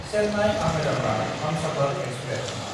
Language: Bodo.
चेन्नाय–आहमेदाबाद हमसाफार एक्सप्रेस